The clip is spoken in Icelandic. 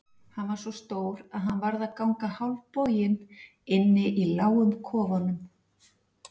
Hann var svo stór að hann varð að ganga hálfboginn inni í lágum kofanum.